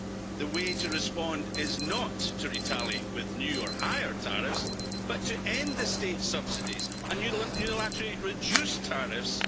The way to respond is not to retaliate with new or higher tariffs, but to end the state subsidies and unilaterally reduce tariffs.